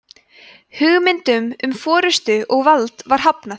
hugmyndum um forystu og vald var hafnað